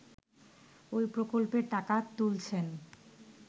ওই প্রকল্পের টাকা তুলছেন